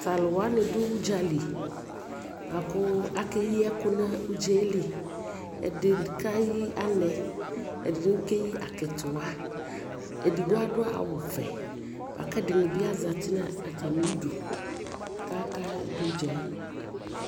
Ta lu wani du udzali buaku aka yi ɛkʋ nu udza yɛ liƐdini kɛ yi anɛ, ɛdi bi kɛyi akitiwaƐdigbo adu awu vɛ aka ɛdini bi zati nu atami dʋ kaka du dza yɛ